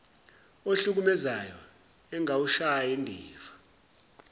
ohlukumezayo engawushayi ndiva